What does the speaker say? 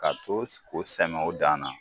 Ka to k'o sɛnɛ o dan na